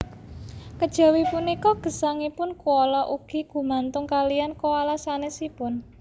Kejawi punika gesangipun koala ugi gumantung kaliyan koala sanésipun